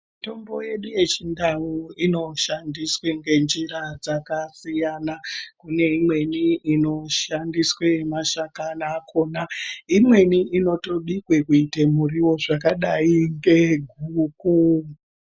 Mitombo yedu yechindau inoshandiswe ngenjira dzakasiyana. Kune imweni inoshandiswe nemashakani akona, imweni inotobikwe kuite muriwo zvakadai ngeguku.